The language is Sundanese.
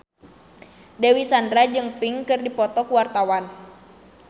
Dewi Sandra jeung Pink keur dipoto ku wartawan